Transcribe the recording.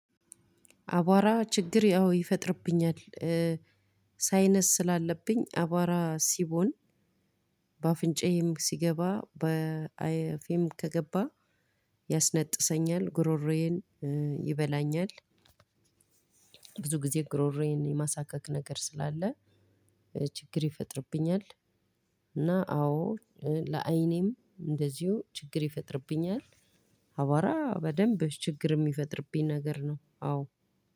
አቧራ ችግር ያው ይፈጥርብኛል። ሳይነስ ስላለብኝ አቧራ ሲቦን። በአፍንጫዬም ሲገባ በአፌም ከገባ። ያስነጥሰኛል ጉሮሮዬን ይበላኛል። ብዙ ጊዜ ጉሮሮዬን የማሳካክ ነገር ስላለ። ችግር ይፈጥርብኛል። እና አዎ ለዓይኔም እንደዚሁ ችግር ይፈጥርብኛል። አቧራ በደንብ ችግር የሚፈጥርብኝ ነገር ነው አዎ።